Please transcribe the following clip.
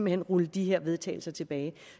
hen rulle de her vedtagelser tilbage